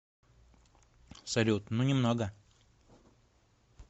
салют ну немного